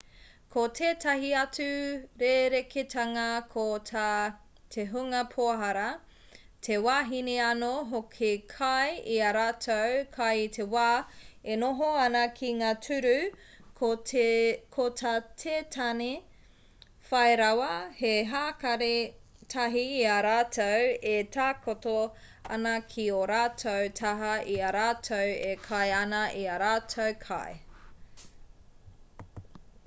ko tētahi atu rerekētanga ko tā te hunga pohara te wahine anō hoki kai i ā rātou kai i te wā e noho ana ki ngā tūru ko tā te tāne whai rawa he hākari tahi i a rātou e takoto ana ki ō rātou taha i a rātou e kai ana i ā rātou kai